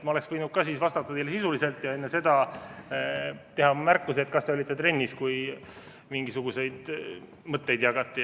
Ma oleksin võinud ka vastata teile sisuliselt ja enne seda teha märkuse, et kas te olite trennis, kui mingisuguseid mõtteid jagati.